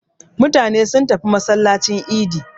Mutane sun tafi masallacin idi.